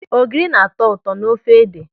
Ogiri na-atọ ụtọ n'ofe ede.